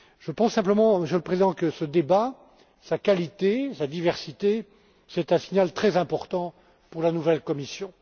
Je pense simplement, Monsieur le Président, que ce débat, sa qualité, sa diversité est un signal très important pour la nouvelle Commission.